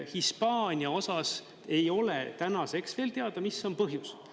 Hispaania osas ei ole tänaseks veel teada, mis on põhjus.